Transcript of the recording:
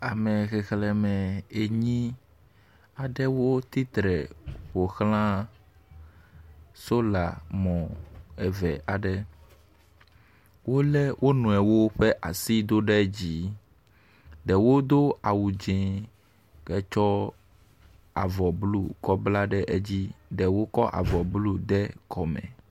Ame xexlẽme enyi aɖewo tsitre ƒo xla sola mɔ eve aɖe. Wolé wo nɔewo ƒe asi do ɖe dzi. Ɖewo do awu dzĩ hetsɔ avɔ blɔ kɔ bla ɖe edzi. Ɖewo kɔ avɔ blɔ kɔ de kɔme.